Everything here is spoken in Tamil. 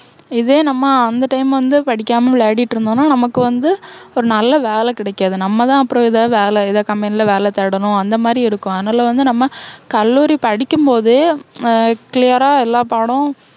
இதே நம்ம அந்த time வந்து படிக்காம விளையாடிட்டு இருந்தோன்னா, நமக்கு வந்து, ஒரு நல்ல வேலை கிடைக்காது. நம்ம தான் அப்பறம் எதாவது வேலை எதாவது company ல வேலை தேடனும் அந்த மாதிரி இருக்கும். அதனால வந்து நம்ம கல்லூரி படிக்கும் போதே அஹ் clear ஆ எல்லா பாடமும்